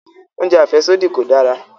Oúnjẹ àfẹ́sódì kò dára